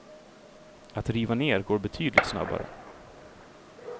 Att riva ner går betydligt snabbare.